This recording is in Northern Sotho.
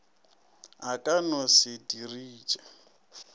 a ka no se diriše